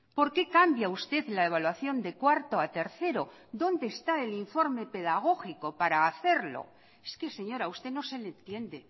por qué cambia usted la evaluación de cuarto a tercero donde está el informe pedagógico para hacerlo es que señora a usted no se le entiende